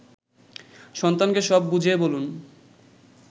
সন্তানকে সব বুঝিয়ে বলুন